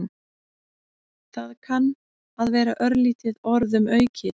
Það kann að vera örlítið orðum aukið.